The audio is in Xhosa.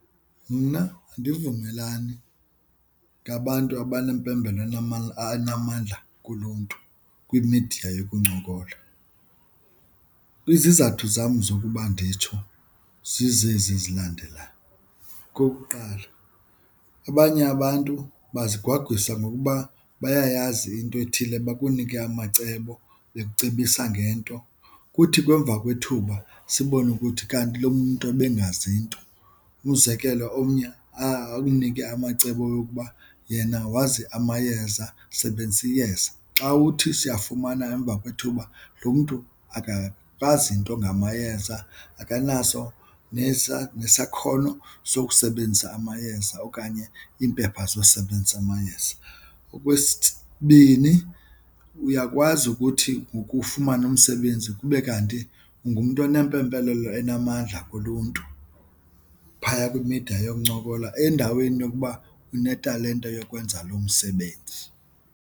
Mna andivumelani ngabantu abanempembelelo anamandla kulo mntu kwimidiya yekuncokola. Izizathu zam zokuba nditsho zizezi zilandelayo. Okokuqala, abanye abantu bazigwagwisa ngokuba bayayazi into ethile bakunike amacebo bekucebisa ngento. Kuthi ke emva kwethuba sibone ukuthi kanti loo mntu ebengazi nto. Umzekelo, omnye akunike amacebo yokuba yena wazi amayeza sebenzisa iyeza. Xa uthi siwafumana emva kwethuba lo mntu akakwazi nto ngamayeza akanaso nesakhono sokusebenzisa amayeza okanye iimpepha zokusebenzisa amayeza. Okwesibini, uyakwazi ukuthi ngoku ufumane umsebenzi abenzi kube kanti ungumntu enempembelelo enamandla kulontu phaya kwimida yokuncokola endaweni yokuba unetalente yokwenza lo msebenzi.